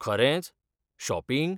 खरेंच? शॉपिंग?